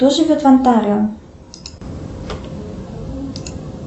кто живет в онтарио